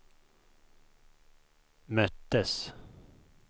möttes